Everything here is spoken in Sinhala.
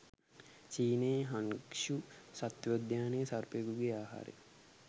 චීනයේ හන්ග්ශු සත්වෝද්‍යානයේ සර්පයකුගේ ආහාරය